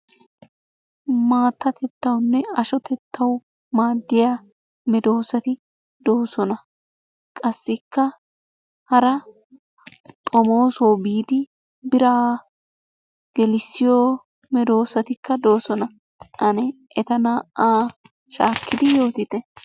Maattatettawunne ashotettawu maaddiya medoosati doosona. Qassikka hara xomoosuwawu biidi biraa gelissiyo medoosatikka doosona. Ane eta naa"aa shaakkidi yootite.